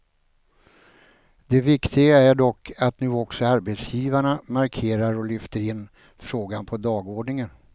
Det viktiga är dock att nu också arbetsgivarna markerar och lyfter in frågan på dagordningen.